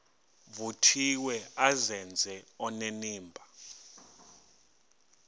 vuthiwe azenze onenimba